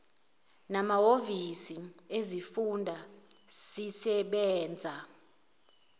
namahhovisi ezifunda sisebenza